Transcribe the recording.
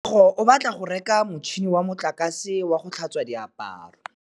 Katlego o batla go reka motšhine wa motlakase wa go tlhatswa diaparo.